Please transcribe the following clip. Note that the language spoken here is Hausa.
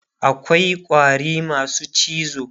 akwai ƙwari masu cizo